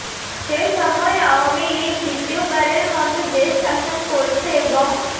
সে সময় আওয়ামী লীগ দ্বিতীয়বারের মতো দেশ শাসন করছে এবং